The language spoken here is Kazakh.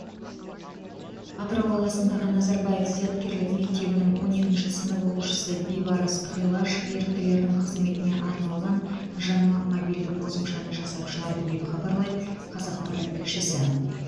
атырау қаласындағы назарбаев зияткерлік мектебінің он екінші сынып оқушысы бибарыс ғилаж еріктілердің қызметіне арналған жаңа мобильдік қосымшаны жасап шығарды деп хабарлайды қазақпарат тілшісі